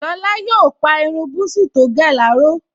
Lára yóò pa irun búsí tó gẹ̀ láró